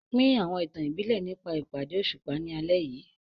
Pín àwọn ìtàn ìbílẹ̀ nígbà ìpàdé òṣùpá ní alẹ́ yìí.